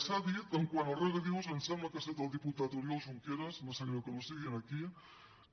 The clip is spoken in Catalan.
s’ha dit quant als regadius em sembla que ha set el diputat oriol junqueras me sap greu que no sigui aquí